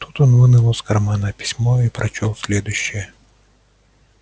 тут он вынул из кармана письмо и я прочёл следующее